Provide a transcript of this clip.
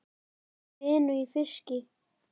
Hafi fengið vinnu í fiski.